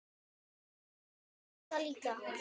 Grjóni mundi það líka.